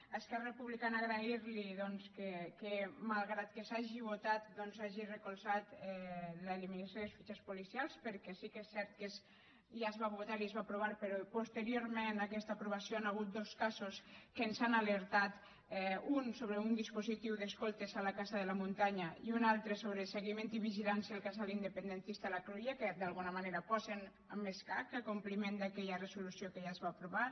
a esquerra republicana agrair li que malgrat que s’hagi votat doncs hagi recolzat l’eliminació de les fitxes policials perquè sí que és cert que ja es va votar i es va aprovar però posteriorment a aquesta aprovació hi han hagut dos casos que ens han alertat un sobre un dispositiu d’escoltes a la casa de la muntanya i un altre sobre seguiment i vigilància al casal independentista la cruïlla que d’alguna manera posen en escac el compliment d’aquella resolució que ja es va aprovar